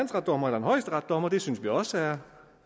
højesteretsdommer og det synes vi også er